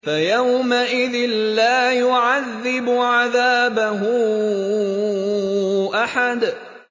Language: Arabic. فَيَوْمَئِذٍ لَّا يُعَذِّبُ عَذَابَهُ أَحَدٌ